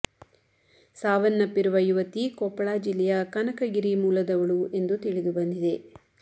ಸಾವನ್ನಪ್ಪಿರುವ ಯುವತಿ ಕೊಪ್ಪಳ ಜಿಲ್ಲೆಯ ಕನಕಗಿರಿ ಮೂಲದವಳು ಎಂದು ತಿಳಿದು ಬಂದಿದೆ